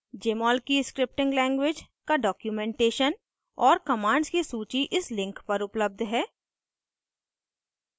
jmol की scripting language का documentation और commands की सूची इस link पर उपलब्ध है